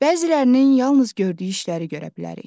Bəzilərinin yalnız gördüyü işləri görə bilərik.